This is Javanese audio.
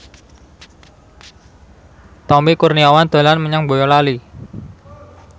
Tommy Kurniawan dolan menyang Boyolali